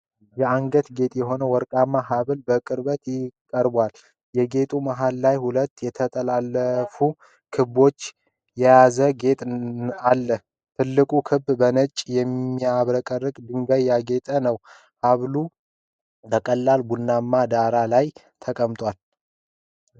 የአንገት ጌጥ የሆነ ወርቃማ ሐብል በቅርበት ቀርቧል። የጌጡ መሃል ላይ ሁለት የተጠላለፉ ክቦችን የያዘ ጌጥ አለ። ትልቁ ክበብ በነጭ የሚያብረቀርቁ ድንጋዮች ያጌጠ ነው። ሐብሉ በቀላል ቡናማ ዳራ ላይ ተቀምጧል።